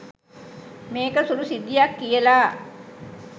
මේක සුළු සිද්ධියක් කියලා.